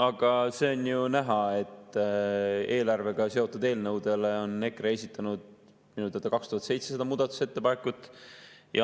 Aga see on ju näha, et eelarvega seotud eelnõude kohta on EKRE esitanud minu teada 2700 muudatusettepanekut.